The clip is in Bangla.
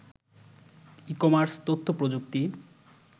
ই-কমার্স, তথ্যপ্রযুক্তি